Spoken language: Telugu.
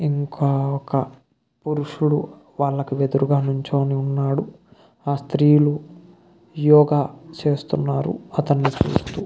ఇంకా ఒక పురుషుడు వాళ్ళకి ఎదురుగా నించుని ఉన్నాడు. ఆ స్త్రీలు యోగ చేస్తున్నారు అతన్ని చూస్తూ.